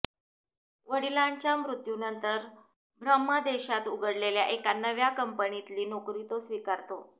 वडिलांच्या मृत्यूनंतर ब्रह्मदेशात उघडलेल्या एका नव्या कंपनीतली नोकरी तो स्वीकारतो